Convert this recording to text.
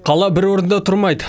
қала бір орында тұрмайды